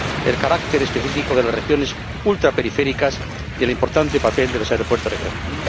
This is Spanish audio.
el carácter específico de las regiones ultraperiféricas, y el importante papel de los aeropuertos regionales.